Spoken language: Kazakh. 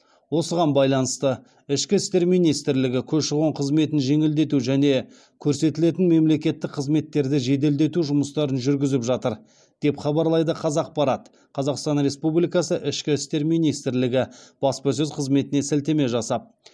осыған байланысты ішкі істер министрлігі көші қон қызметін жеңілдету және көрсетілетін мемлекеттік қызметтерді жеделдету жұмыстарын жүргізіп жатыр деп хабарлайды қазақпарат қазақстан республикасы ішкі істер министрлігі баспасөз қызметіне сілтеме жасап